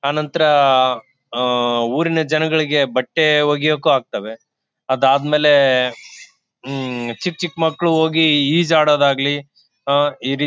ಅನಂತರ ಅಹ್ ಊರಿನ ಜನಗಳಿಗೆ ಬಟ್ಟೆ ವಗಿಯಕ್ಕು ಹಾಕ್ತಾವೆ ಅದಾದ್ಮೇಲೆ ಹ್ಮ್ ಚಿಕ್ ಚಿಕ್ ಮಕ್ಳು ಹೋಗಿ ಈಜ್ ಆಡೋದು ಆಗ್ಲಿ ಆಹ್ಹ್ ಎದಿ